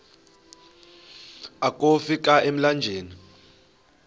akofi ka emlanjeni